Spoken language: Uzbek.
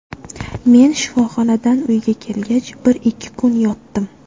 Men shifoxonadan uyga kelgach bir-ikki kun yotdim.